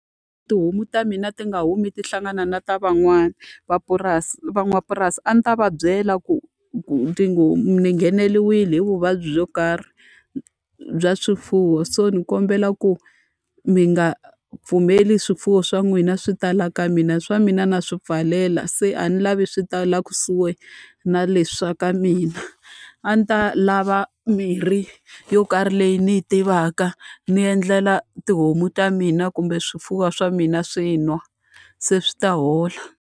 Tihomu ta mina ti nga humi ta hlangana na ta van'wani mapurasi van'wapurasi. A ndzi ta va byela ku ni ngheneriwile hi vuvabyi byo karhi bya swifuwo, so ni kombela ku mi nga pfumeli swifuwo swa n'wina swi ta laha ka mina. Swa mina na swi pfalela se a ni lavi swi ta laha kusuhi na leswi swa ka mina. A ndzi ta lava mirhi yo karhi leyi ni yi tivaka ni endlela tihomu ta mina kumbe swifuwo swa mina swi nwa, se swi ta hola.